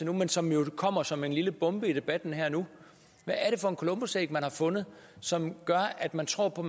men som jo kommer som en lille bombe i debatten her og nu hvad er det for et columbusæg man har fundet som gør at man tror på